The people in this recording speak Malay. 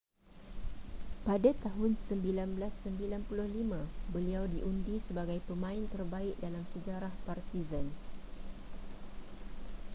pada tahun 1995 beliau diundi sebagai pemain terbaik dalam sejarah partizan